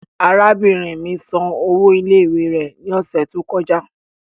Arabinrin mi san owo ile-iwe rẹ ni ọsẹ to kọja